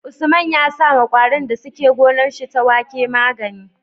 Usman ya sawa kwarin da suke gonar shi ta wake magani